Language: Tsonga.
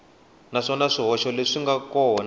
naswona swihoxo leswi nga kona